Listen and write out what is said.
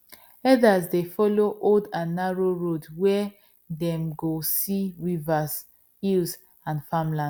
herders dey follow old and narrow road where them go see rivers hills and farmland